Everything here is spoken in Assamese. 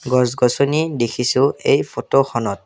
গছ গছনি দেখিছোঁ এই ফটোখনত।